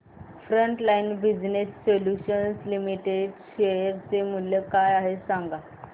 frontline business solutions limited share चे मूल्य काय आहे हे सांगा